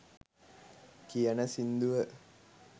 කියන සින්දුව